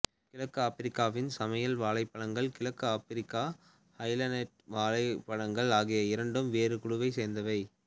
கிழக்கு ஆப்பிரிக்காவின் சமையல் வாழைப்பழங்கள் கிழக்கு ஆப்பிரிக்க ஹைலேண்ட் வாழைப்பழங்கள் ஆகிய இரண்டும் வேறு குழுவைச் சேர்ந்தவை